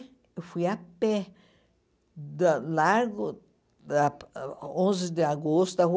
Eu fui a pé da Largo da Onze de Agosto, a rua